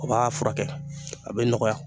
O b'a furakɛ, a bɛ nɔgɔya.